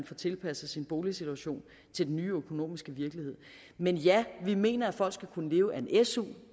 får tilpasset sin boligsituation til den nye økonomiske virkelighed men ja vi mener at folk skal kunne leve af en su